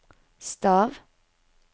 stav